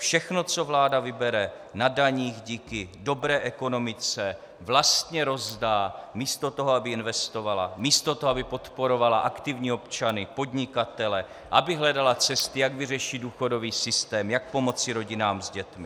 Všechno, co vláda vybere na daních díky dobré ekonomice, vlastně rozdá místo toho, aby investovala, místo toho, aby podporovala aktivní občany, podnikatele, aby hledala cesty, jak vyřešit důchodový systém, jak pomoci rodinám s dětmi.